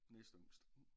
Næstyngst